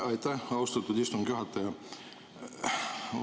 Aitäh, austatud istungi juhataja!